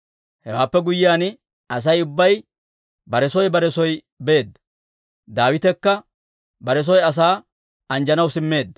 Hewaappe guyyiyaan, Asay ubbay bare soo bare soo beedda. Daawitekka bare soy asaa anjjanaw simmeedda.